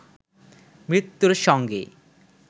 মৃত্যুর সঙ্গে